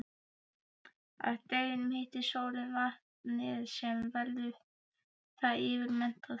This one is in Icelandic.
Að deginum hitar sólin vatnið sem verður þá yfirmettað.